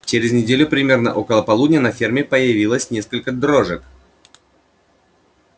через неделю примерно около полудня на ферме появилось несколько дрожек